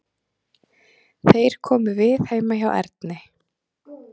Þeir komu við heima hjá Erni.